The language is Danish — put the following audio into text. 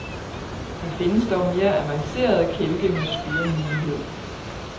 Der findes dog mere avancerede kælke med styremulighed.